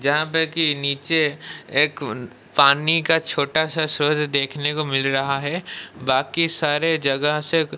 यहां पे कि नीचे एक पानी का छोटा सा सोर देखने को मिल रहा है बाकी सारे जगह से--